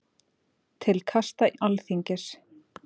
Til kasta Alþingis